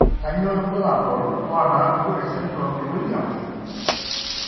Kainyio irbulabul onaapuku esindirom eWilliams?